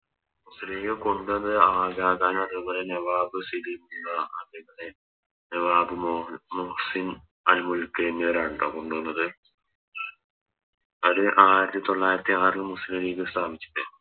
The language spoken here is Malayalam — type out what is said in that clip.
മുസ്ലിം ലീഗ് കൊണ്ടോന്നത് അതേപോലെ നവാബ് അതേപോലെ മുഹ്‌സിൻ ക്ക് എന്നിവരാണ് ട്ടോ കൊണ്ടോന്നത് അത് ആയിരത്തി തൊള്ളായിരത്തി ആറിൽ മുസ്ലിം ലീഗ് സ്ഥാപിച്ചത്